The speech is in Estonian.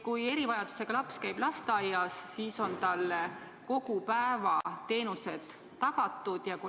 Kui erivajadusega laps käib lasteaias, siis on talle kogu päeva jooksul vajalikud teenused tagatud.